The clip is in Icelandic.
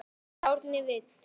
Árni Vill.